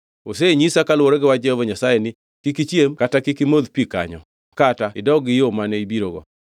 Osenyisa kaluwore gi wach Jehova Nyasaye ni, ‘Kik ichiem kata kik imodh pi kanyo kata idog gi yo mane ibirogo.’ ”